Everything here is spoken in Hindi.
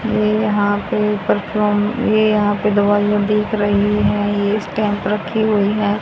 ये यहां पे पर्फ्यूम ये यहां पे दवाइयां दिख रहीं है ये स्टैम्प रखी हुई है।